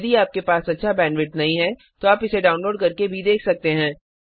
यदि आपके पास अच्छा बैंडविड्थ नहीं है तो आप इसे डाउनलोड करके भी देख सकते हैं